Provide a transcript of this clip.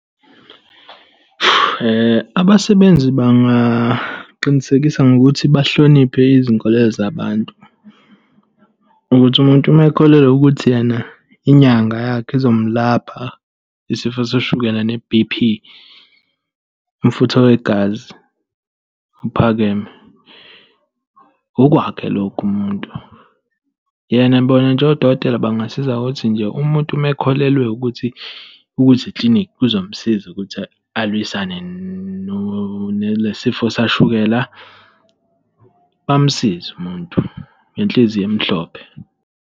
Abasebenzi bangaqinisekisa ngokuthi bahloniphe izinkolelo zabantu, ukuthi umuntu uma ekholelwa ukuthi yena inyanga yakhe izomlapha isifo sashukela ne-B_P, umfutho wegazi ophakeme, okwakhe lokho umuntu. Yena bona nje odokotela bangasiza ukuthi nje umuntu uma akholelwe ukuthi ukuze eklinikhi kuzomsiza ukuthi alwisane nale sifo sashukela, bamsize umuntu, ngenhliziyo emhlophe.